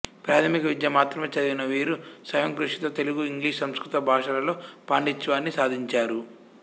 ప్రాథమిక విద్య మాత్రమే చదివిన వీరు స్వయంకృషితో తెలుగు ఇంగ్లీషు సంస్కృత భాషలలో పాండిత్యాన్ని సాధించారు